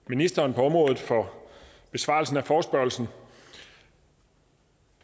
ministeren på området for besvarelsen af forespørgslen